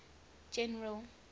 general